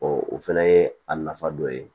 o fɛnɛ ye a nafa dɔ ye